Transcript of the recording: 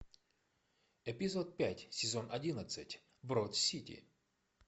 эпизод пять сезон одиннадцать брод сити